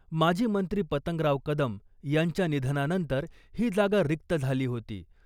माजी मंत्री पतंगराव कदम यांच्या निधनानंतर ही जागा रिक्त झाली होती .